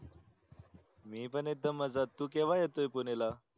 मी पन एकदम मजेत तू केव्हा येतोय पुणेला